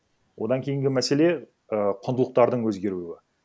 одан кейінгі мәселе ііі құндылықтардың өзгеруі